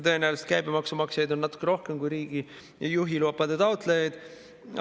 Tõenäoliselt käibemaksu maksjaid on natuke rohkem kui juhilubade taotlejaid.